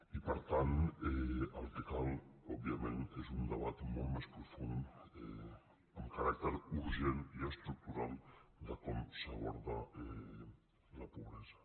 i per tant el que cal òbviament és un debat molt més profund amb caràcter urgent i estructural de com s’aborda la pobresa